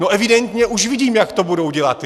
No, evidentně už vidím, jak to budou dělat.